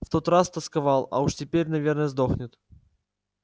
в тот раз тосковал а уж теперь наверное сдохнет